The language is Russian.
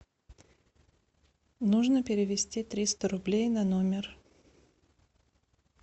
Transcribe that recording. нужно перевести триста рублей на номер